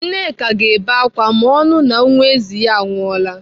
Nneka ga-ebe ákwà ma ọ nụụ na nwa ezi ya anwụọla.